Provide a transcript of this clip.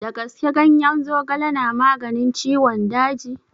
Da gaske ganyen zogale na maganin ciwon daji?